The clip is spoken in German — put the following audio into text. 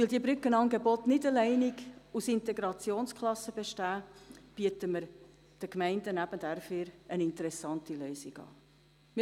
Da diese Brückenangebote nicht nur aus Integrationsklassen bestehen, bieten wir den Gemeinden eine interessante Lösung an.